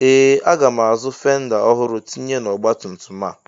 Ee! Aga m azụ fenda ọhụrụ tinye n'ọgbatumtum a.